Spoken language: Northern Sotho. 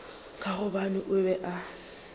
ka gobane o be a